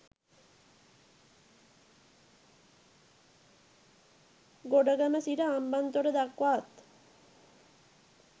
ගොඩගම සිට හම්බන්තොට දක්වාත්